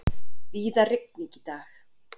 Víða rigning í dag